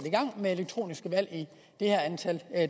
gang med elektroniske valg i det her antal